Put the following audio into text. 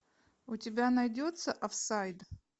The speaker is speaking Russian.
у тебя найдется офсайд